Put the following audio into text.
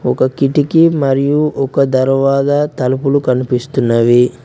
ఒక కిటికీ మరియు ఒక దర్వాజా తలుపులు కనిపిస్తున్నవి.